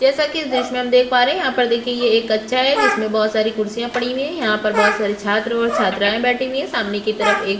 जैसा कि इस दृश्य में हम देख पा रहे है यहाँ पर देखिए यह एक कक्षा है जिसमें बहुत सारी कुर्सीयाँ पड़ी हुई है यहाँ पर बहुत सारी छात्र और छात्राये बैठी हुई है सामने की तरफ एक --